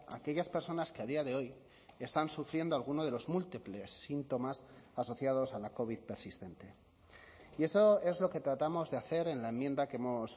a aquellas personas que a día de hoy están sufriendo alguno de los múltiples síntomas asociados a la covid persistente y eso es lo que tratamos de hacer en la enmienda que hemos